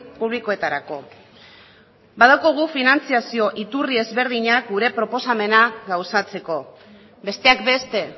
publikoetarako badaukagu finantziazio iturri ezberdinak gure proposamena gauzatzeko besteak beste